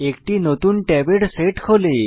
একটি নতুন ট্যাবের সেট খোলে